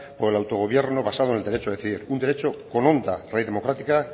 por el autogobierno basado en el derecho de decidir un derecho con una honda raíz democrática